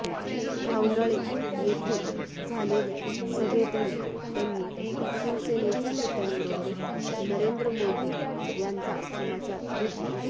घावनळे येथे झालेल्या सभेतही त्यांनी शिवसेनेच्या नेत्यांबरोबरच नरेंद्र मोदी यांचा समाचार घेतला